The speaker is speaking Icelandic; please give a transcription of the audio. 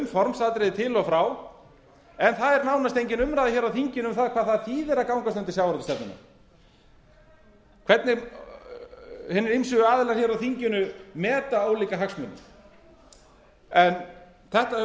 formsatriði til og frá en það er nánast engin umræða um það hér á þinginu hvað það þýðir að gangast undir sjávarútvegsstefnuna hvernig hinir ýmsu aðilar á þinginu meta ólíka hagsmuni en þetta höfum